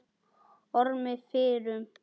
Ormi fyrrum.